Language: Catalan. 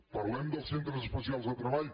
parlem dels centres especials de treball